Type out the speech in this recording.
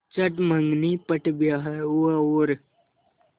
चट मँगनी पट ब्याह हुआ और